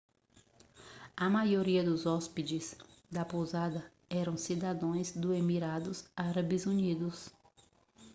a maioria dos hóspedes da pousada eram cidadãos dos emirados árabes unidos